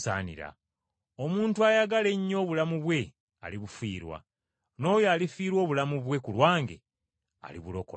Omuntu ayagala ennyo obulamu bwe alibufiirwa, naye alifiirwa obulamu bwe ku lwange, alibulokola.